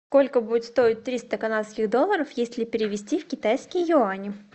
сколько будет стоить триста канадских долларов если перевести в китайские юани